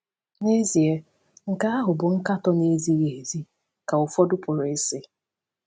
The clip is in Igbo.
‘N’ezie, nke ahụ bụ nkatọ na-ezighị ezi,’ ka ụfọdụ pụrụ ịsị.